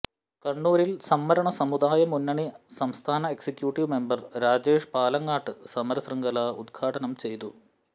കണ്ണൂരിൽ സംവരണ സമുദായ മുന്നണി സംസ്ഥാന എക്സിക്യൂട്ടീവ് മെമ്പർ രാജേഷ് പാലങ്ങാട്ട് സമര ശൃംഖല ഉദ്ഘാടനം ചെയ്തു